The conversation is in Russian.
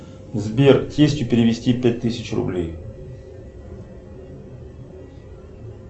сбер тестю перевести пять тысяч рублей